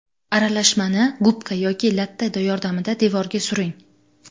Aralashmani gubka yoki latta yordamida devorga suring.